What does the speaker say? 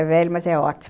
É velho, mas é ótimo.